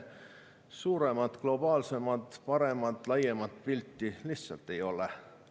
Suuremat, globaalsemat, paremat, laiemat pilti lihtsalt ei ole.